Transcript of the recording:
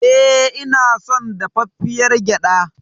E, ina son dafaffiyar gyaɗa.